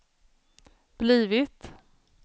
blivit